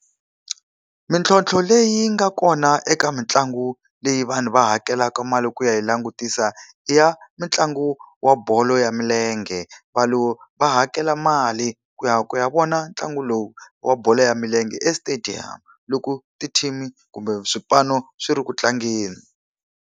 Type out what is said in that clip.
Mintlhontlho leyi yi nga kona eka mitlangu leyi vanhu va hakelaka mali ku ya yi langutisa i ya mitlangu wa bolo ya milenge. Vanhu va hakela mali ku ya ku ya vona ntlangu lowu wa bolo ya milenge e stadium, loko ti-team-i kumbe swipano swi ri ku tlangeni.